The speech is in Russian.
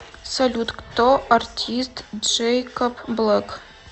салют кто артист джэйкоб блэк